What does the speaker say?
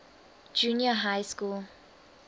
junior high school